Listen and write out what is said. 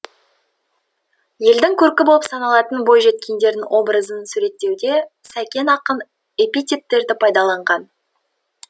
елдің көркі болып саналатын бойжеткендердің образын суреттеуде сәкен ақын эпитеттерді пайдаланған